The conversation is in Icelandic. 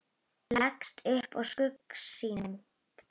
Leggst upp að skugga sínum.